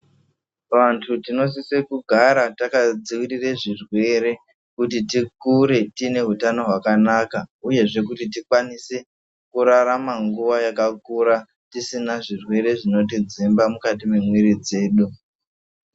Vantu tinosise kugara takadzivirire zvirwere kuti tikure tine utano hwakanaka uyezve kuti tikwanise kurarama nguwa yakakura tisina zvirwere zvinotidzimba mukati memwiri dzedu.